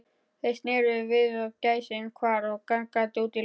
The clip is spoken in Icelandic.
Þeir sneru við og gæsin hvarf gargandi út í loftið.